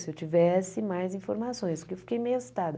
Se eu tivesse mais informações, porque eu fiquei meio assustada.